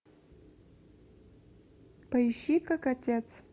поищи как отец